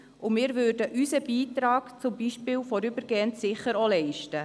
Wir würden unseren Beitrag, zum Beispiel vorübergehend, sicher auch leisten.